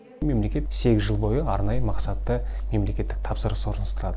мемлекет сегіз жыл бойы арнайы мақсатты мемлекеттік тапсырыс орналастырады